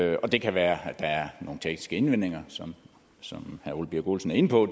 det og det kan være at der er nogle tekniske indvendinger som som herre ole birk olesen er inde på